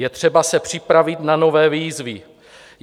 Je třeba se připravit na nové výzvy.